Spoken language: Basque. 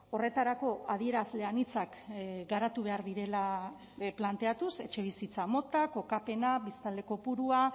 horretarako adierazle anitzak garatu behar direla planteatuz etxebizitza mota kokapena biztanle kopurua